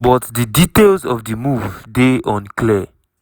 but di details of di move dey unclear.